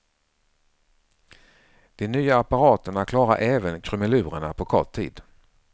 De nya apparaterna klarar även krumelurerna på kort tid.